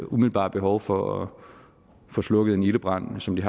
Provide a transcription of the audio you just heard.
umiddelbare behov for at få slukket en ildebrand som de